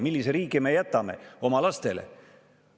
Millise riigi me jätame oma lastele?